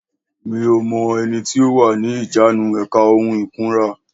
Mi ò mọ ẹni tó wà ní ìjánu èka ohun ìkunra